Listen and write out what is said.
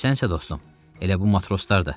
Sən isə dostum, elə bu matroslar da.